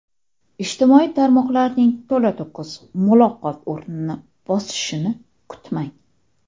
Ijtimoiy tarmoqlarning to‘la-to‘kis muloqot o‘rnini bosishini kutmang.